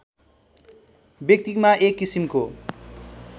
व्यक्तिमा एक किसिमको